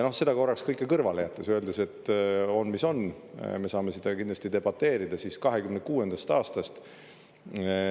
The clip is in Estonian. Seda kõike korraks kõrvale jättes, öeldes, et on, mis on, me saame seda kindlasti debateerida, siis 2026. aastast …